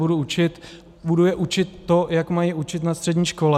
Budu je učit to, jak mají učit na střední škole.